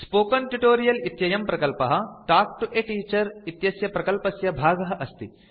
spoken tutorial इत्ययं प्रकल्पः talk to a teacher इत्यस्य प्रकल्पस्य भागः अस्ति